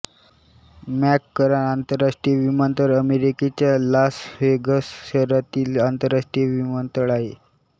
McCarran आतरराष्ट्रीय विमानतळ अमेरिकेच्या लास व्हेगस शहरातील आंतरराष्ट्रीय विमानतळ आहे